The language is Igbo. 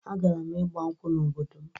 Agara m ịgbankwụ n'obodo m